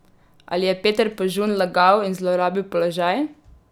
Ali je Peter Požun lagal in zlorabil položaj?